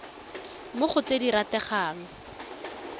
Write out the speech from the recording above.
mo go tse di rategang